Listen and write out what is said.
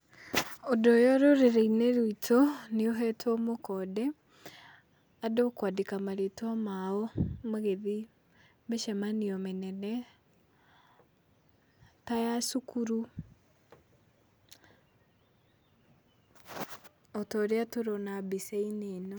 Ũndũ ũyũ rũrĩrĩ-inĩ rwitũ, nĩ ũhetwo mũkonde, andũ kwandĩka marĩtwa mao magĩthiĩ mĩcemanio mĩnene, ta ya cukuru o ta ũrĩa tũrona mbica-inĩ ĩno.